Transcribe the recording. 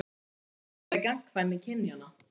Hvað felst þá í gagnkvæmni kynjanna?